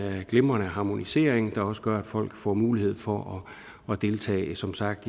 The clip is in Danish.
glimrende harmonisering der også gør at folk får mulighed for at deltage som sagt